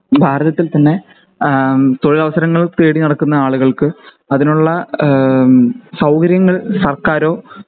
ഭാരതത്തിൽ തന്നെ ഏഹ് തൊഴിലവസരങ്ങൾ തേടി നടക്കുന്ന ആളുകൾക്ക് അതിനുള്ള ഈഹ്മ് സൗകര്യങ്ങൾ സർക്കാരോ